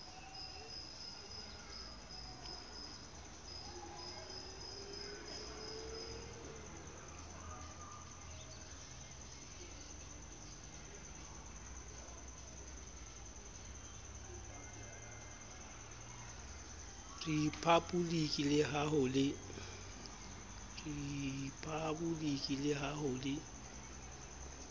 riphaboliki le ha ho le